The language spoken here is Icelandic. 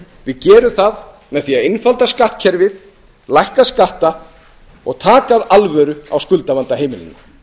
við gerum það með því að einfalda skattkerfið lækka skatta og taka af alvöru á skuldavanda heimilanna